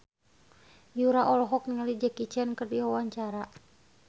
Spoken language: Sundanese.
Yura olohok ningali Jackie Chan keur diwawancara